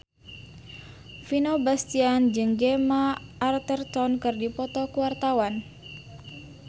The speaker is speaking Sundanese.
Vino Bastian jeung Gemma Arterton keur dipoto ku wartawan